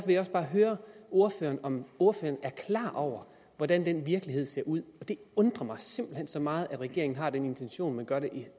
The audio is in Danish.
jeg også bare høre ordføreren om ordføreren er klar over hvordan den virkelighed ser ud det undrer mig simpelt hen så meget at regeringen har den intention men gør det